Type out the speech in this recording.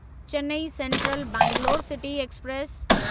Chennai Central Bangalore City express